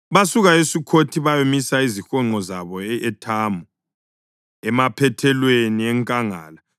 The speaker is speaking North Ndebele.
Basuka eSukhothi bayamisa izihonqo zabo e-Ethamu, emaphethelweni enkangala.